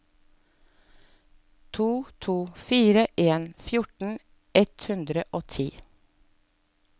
to to fire en fjorten ett hundre og ti